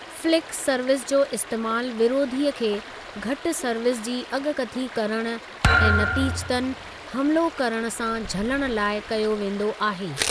Flick service जो इस्तेमालु विरोधीअ खे घटि सर्विस जी अॻकथी करणु ऐं नतीजतन हमिलो करण सां झलणु लाइ कयो वेंदो आहे।